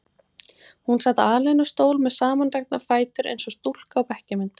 Hún sat alein á stól með samandregna fætur eins og stúlka á bekkjarmynd.